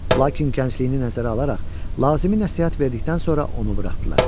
Lakin gəncliyini nəzərə alaraq lazımi nəsihət verdikdən sonra onu buraxdılar.